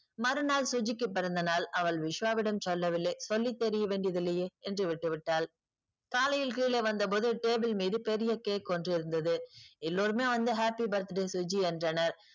மறு நாள் சுஜிக்கு பிறந்தநாள். அவள் விஸ்வாவிடம் சொல்ல வில்லை. சொல்லி தெரிய வேண்டியதில்லையே என்று விட்டு விட்டாள். காலையில் கீழே வந்த போது table மீது பெரிய cake ஒன்று இருந்தது. எல்லோருமே வந்து happy birthday சுஜி என்றனர்.